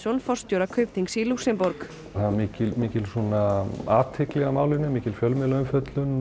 forstjóra Kaupþings í Lúxemborg það var mikil mikil athygli á málinu mikil fjölmiðlaumfjöllun